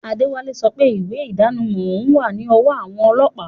Adewale sope iwe idanimo oun wa ni owo awon olopa